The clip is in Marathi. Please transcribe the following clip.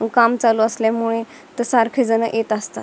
काम चालू असल्यामुळे सारखे जण येत असतात.